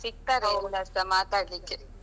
ಸಿಕ್ತಾರೆ ಎಲ್ಲಾರ್ಸಾ ಮಾತಾಡ್ಲಿಕ್ಕೆ.